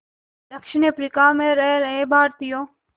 दक्षिण अफ्रीका में रह रहे भारतीयों